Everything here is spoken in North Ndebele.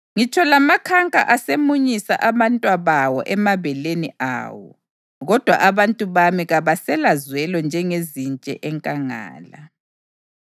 Ngitsho lamakhanka asemunyisa abantwabawo emabeleni awo, kodwa abantu bami kabaselazwelo njengezintshe enkangala.